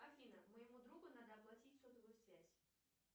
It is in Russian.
афина моему другу надо оплатить сотовую связь